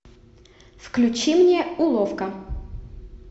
включи мне уловка